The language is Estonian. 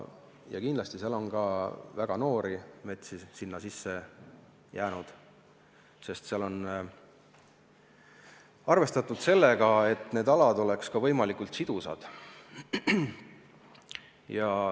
Ja kindlasti on sinna ka väga noori metsi sisse jäänud, sest arvestatud on sellega, et need alad oleks võimalikult sidusad.